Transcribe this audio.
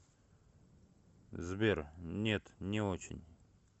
сбер нет не очень